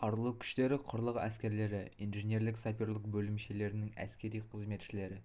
қарулы күштері құрлық әскерлері инженерлік-саперлік бөлімшелерінің әскери қызметшілері